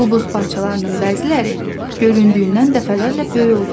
Bu buz parçalarının bəziləri göründüyündən dəfələrlə böyük olur.